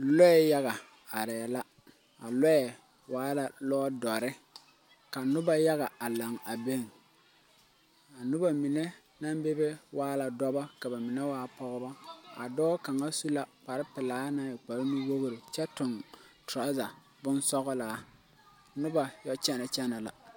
Lɔɛ yaga arẽ la a lɔɛ waa la lɔɔ dɔri ka nuba yaga a lang a be a nuba mene nang bebe waa la dɔba ka ba mene waa pɔgba a dɔɔ kanga su la kpare pelaa nang e kpare nu wɔgre kye tung truza bonsɔglaa nuba ye kyene kyene la.